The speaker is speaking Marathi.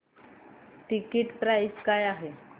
टिकीट प्राइस काय आहे